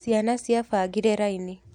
Ciana ciabangire raini.